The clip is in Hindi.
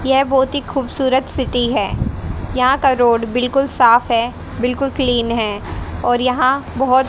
ये बहुत ही खूबसूरत सिटी है यहां का रोड बिल्कुल साफ है बिल्कुल क्लीन है और यहां बहुत --